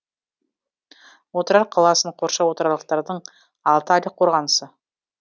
отырар қаласын қоршау отырарлықтардың алты айлық қорғанысы